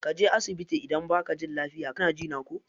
Kaje asibiti idan baka jin lafia kana jina ko.